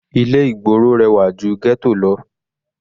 Ilé ìgboro rẹwà ju ghetto lọ.